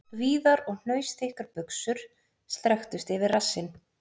Víðar og hnausþykkar buxur strekktust yfir rassinn..